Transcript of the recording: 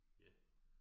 Ja